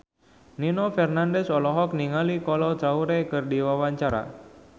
Nino Fernandez olohok ningali Kolo Taure keur diwawancara